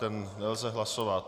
Ten nelze hlasovat.